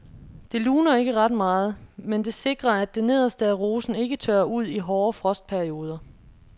Det luner ikke ret meget, men det sikrer at det nederste af rosen ikke tørrer ud i hårde frostperioder.